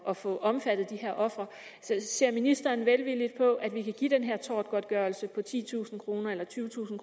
at få omfattet de her ofre så ser ministeren velvilligt på at vi kan give den her tortgodtgørelse på titusind kroner eller tyvetusind